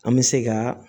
An bɛ se ka